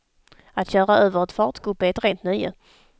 Att köra över ett fartgupp är ett rent nöje.